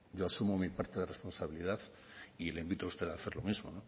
yo asumo mi parte de responsabilidad y le invito a usted a hacer lo mismo